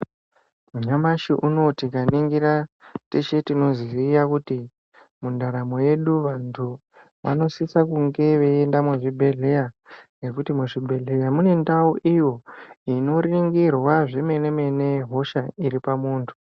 Nyamashi unouwu tikaningira teshe tinoziva kuti mundaramo medu vandu vanosisa veienda kuchibhehleya nekuti mubhehleya ndimochete muoningirwa vandu.